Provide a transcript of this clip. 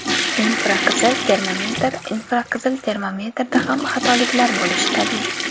Infraqizil termometr Infraqizil termometrda ham xatoliklar bo‘lishi tabiiy.